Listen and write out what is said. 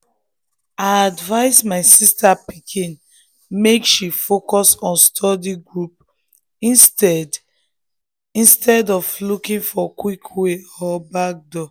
i advise my sister pikin make um she focus on study group instead instead of looking for quick way or backdoor.